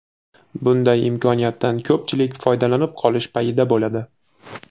Bunday imkoniyatdan ko‘pchilik foydalanib qolish payida bo‘ladi.